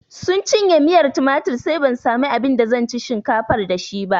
Sun canye miyar tumatir sai ban samu abin da zan ci shinkafar da shi ba